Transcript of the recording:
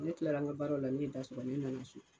Ne kilara n ka baaraw la ne ye da sɔgɔ ne nana so